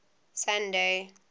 sunday